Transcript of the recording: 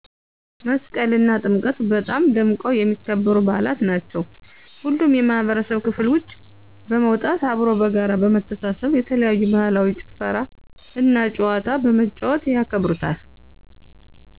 መስቀል አና ጥምቀት በጣም ደምቀው ከሚከበሩ በዓላት ናቸው ሁሉም የማህበረሰብ ክፍል ውጭ በመውጣት አብሮ በጋራ በመተሳስብ የተለያዩ ባህላዊ ጭፈራ እና ጨዋታ በመጫወት ያከብሩታል።